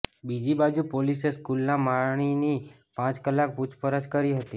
બીજી બાજુ પોલીસે સ્કૂલના માળીની પાંચ કલાક પૂછપરછ કરી હતી